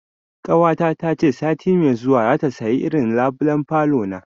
Ƙawata ta ce sati mai zuwa za ta saya irin labulen falona